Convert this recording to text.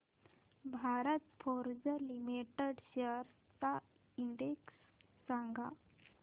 Bharat Forge Limited shares चा index सांगा